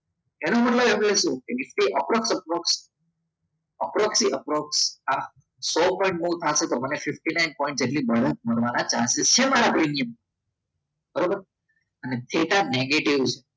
એનો મતલબ એવો કે નીફ્ટી અપ્રોક્સ અપ્રોક્ષી એપ્રોક્ષી સો પોઇંટ move થાશે તો મને fifty nine point નો પ્રીમિયમ મળવાના chances છે મારા પ્રીમિયમના બરાબર અને થેટા negative છે.